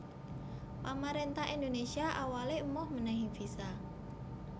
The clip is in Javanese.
Pamaréntah Indonésia awalé emoh mènèhi visa